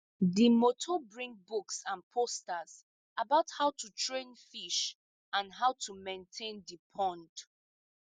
the motor bring books and posters about how to train fish and how to maintain the pond